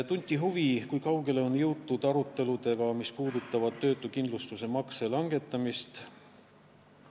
Tunti huvi, kui kaugele on jõutud aruteludega, mis puudutavad töötuskindlustusmakse langetamist.